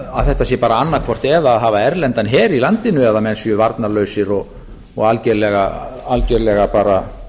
að þetta sé bara annað hvort eða að hafa erlendan her í landinu eða menn séu varnarlausir og algerlega bara